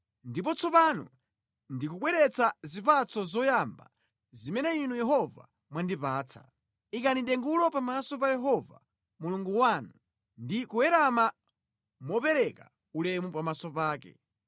Ndipo tsopano ndikubweretsa zipatso zoyamba zimene inu Yehova mwandipatsa.” Ikani dengulo pamaso pa Yehova Mulungu wanu ndi kuwerama mopereka ulemu pamaso pake.